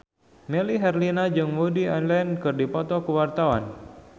Melly Herlina jeung Woody Allen keur dipoto ku wartawan